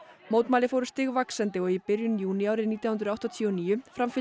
mótmæli fóru stigvaxandi og í byrjun júní árið nítján hundruð áttatíu og níu framfylgdi